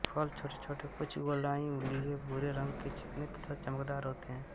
फल छोटेछोटे कुछ गोलाई लिए भूरे रंग के चिकने तथा चमकदार होते हैं